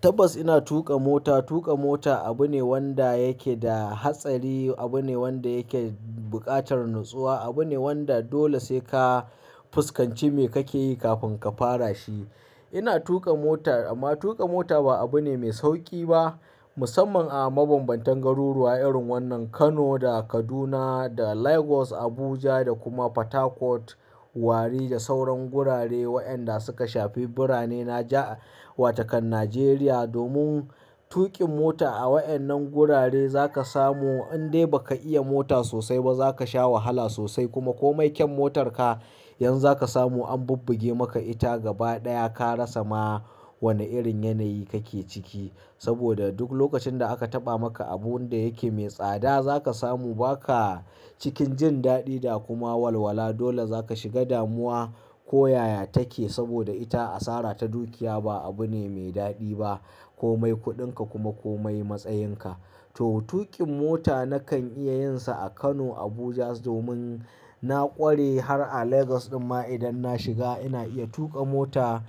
Tabbas ina tuƙa mota. Tuƙa mota abu ne wanda yake da hatsari, abu ne wanda yake buƙatar natsuwa, abu ne wanda dole sai ka fuskanci me kake yi kafin ka fara shi. Ina tuƙa mota amma tuƙa mota ba abu ne mai sauƙi ba musamman a mabambantan garuruwa irin wannan Kano da Kaduna da Lagos, Abuja da kuma Port Harcourt, Warri da sauran wurare waɗanda suka shafi birane na ja wa takan Najeriya. Domin tuƙin mota a waɗannan wurare za ka samu in dai ba ka iya mota sosai ba za ka sha wahala sosai kuma komai kyau motarka yanzu za ka samu an bubbuge maka ita gaba ɗaya ka rasa ma wane irin yanayi kake ciki. Saboda duk lokacin da aka taɓa maka abun da yake mai tsada za ka samu ba ka cikin jin daɗi da kuma walwala. Dole za ka shiga damuwa ko yaya take saboda ita asara ta dukiya ba abu ne mai daɗi ba. Komai kuɗinka kuma komai matsayinka. To tuƙin mota nakan iya yin sa a Kano, Abuja domin na ƙware har a Lagos ɗuma idan na shiga ina iya tuƙa mota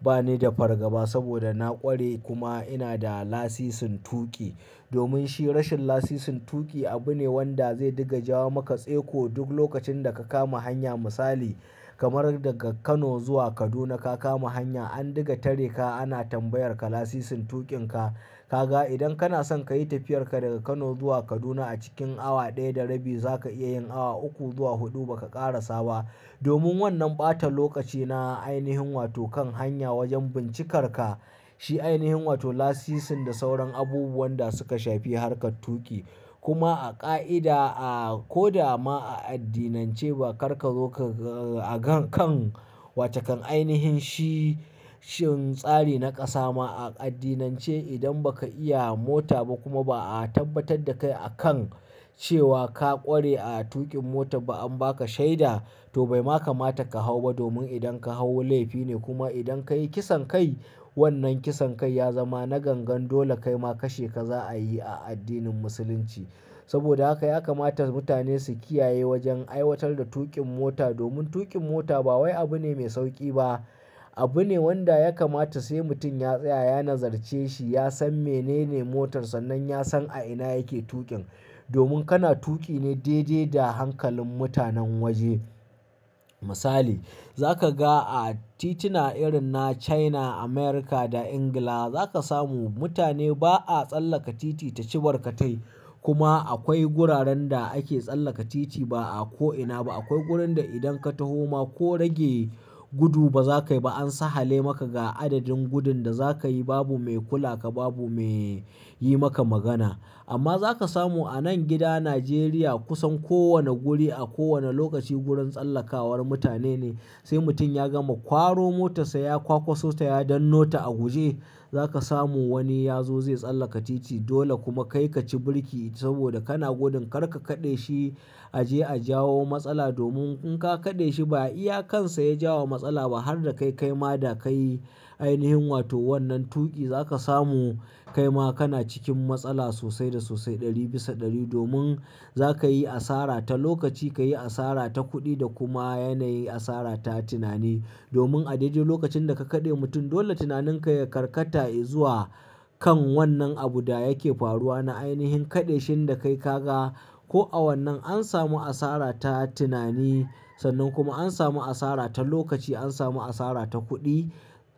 bani da fargaba saboda na ƙware kuma ina da lasisin tuƙi. Domin shi rashin lasisin tuƙi abu ne wanda zai diga jawo maka tselko duk lokacin da ka kama hanya. Misali kamar daga Kano zuwa Kaduna ka kama hanya an diga tare ka ana tambayar ka lasisin tuƙin ka. Ka ga idan kana son ka yi tafiyar ka daga Kano zuwa Kaduna a cikin awa ɗaya da rabi za ka iya yin awa uku zuwa huɗu ba kara sawa. Domin wannan ɓatan lokaci na ainihin watokan hanya wajen bincikar ka shi ainihin wato lasisin da sauran abubuwan da suka shafi harkar tuƙi. Kuma a ƙa'ida, a ko da ma a addinance ba kar ka zo ka, a kan, kan wata kan ainihin shi, shin tsari na ƙasa ma a addinance idan ba ka iya mota ba kuma ba a tabbatar da kai a kan cewa ka ƙware a tuƙin mota ba an ba ka shaida to bai ma kamata ka hau ba domin idan ka hau laifi ne. Kuma idan ka yi kisan kai wannan kisan kai ya zama na gangan dole kai ma kashe ka za a yi a addinin Musulunci. Saboda haka ya kamata mutane su kiyaye wajen aiwatar da tuƙin mota domin tuƙin mota ba wai abu ne mai sauƙi ba. Abu ne wanda ya kamata sai mutum ya tsaya, ya nazarce shi, ya san menene motar sa nan ya san a ina yake tuƙin. Domin kana tuƙi ne daidai da hankalin mutanen waje. Misali za ka ga a tituna irin na China, America da England za ka samu mutane ba a tsallaka titi ta cibar katai. Kuma akwai guraren da ake tsallaka titi ba a ko ina ba. Akwai wurin da idan ka taho ma ko rage gudu ba za ka yi ba an sahale maka ga adadin gudun da za ka yi babu mai kula ka babu mai yi maka magana. Amma za ka samu a nan gida Najeriya kusan kowane wuri a kowane lokaci wurin tsallakawa mutane ne. Sai mutum ya gama kwaro motarsa ya kwakwaso ta ya dannota a guje za ka samu wani ya zo zai tsallaka titi dole kuma kai ka ci birki saboda kana gudun kar ka kaɗe shi a je a jawo matsala. Domin in ka kaɗe shi ba iyakan sa ya jawo matsala ba har da kai kai ma da ka yi ainihin wato wannan tuƙi za ka samu kai ma kana cikin matsala sosai da sosai ɗari bisa ɗari. Domin za ka yi asara ta lokaci, ka yi asara ta kuɗi da kuma yanayi asara ta tunani. Domin a daidai lokacin da ka kaɗe mutum dole tunaninka ya karkata zuwa kan wannan abu da yake faruwa na ainihin kaɗeshin da kai ka ga. Ko a wannan an samu asara ta tunani sannan kuma an samu asara ta lokaci an samu asara ta kuɗi.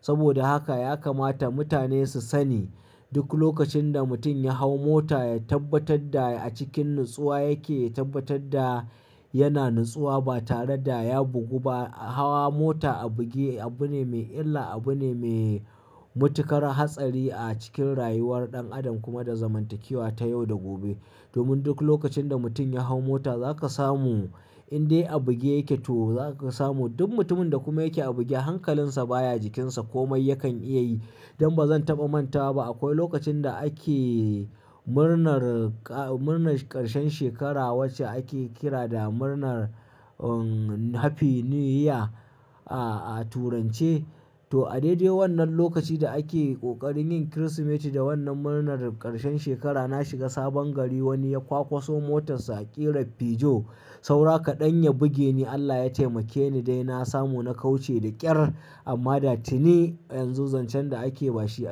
Saboda haka ya kamata mutane su sani duk lokacin da mutum ya hau mota ya tabbatar da a cikin natsuwa yake, ya tabbatar da yana natsuwa ba tare da ya bugu ba. Hawa mota a buge abu ne me illa, abu ne me matuƙar hatsari a cikin rayuwar ɗan adam kuma da zamantakewa ta yau da gobe. Domin duk lokacin da mutum ya hau mota za ka samu in dai a buge yake to za ka samu duk mutumin da kuma yake a buge hankalinsa baya jikinsa komai yakan iya yi. Don ba zan taɓa manta ba akwai lokacin da ake murnar, murnar ƙarshen shekara wacce ake kira da murnar Happy New Year a, a turance to a daidai wannan lokacin da ake ƙoƙarin yin Kirsimeti da wannan murnar ƙarshen shekara na shiga sabon gari wani ya kwakwaso motarsa a ƙera fijo saura kaɗan ya buge ni Allah ya taimake ni dai na samu na kauce da ƙyar. Amma da tini yanzu zancen da ake ba shi a.